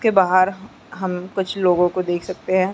के बहार हम कुछ लोगों को देख सकते हैं ।